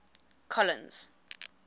colins